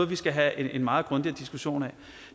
vi skal have en meget grundig diskussion om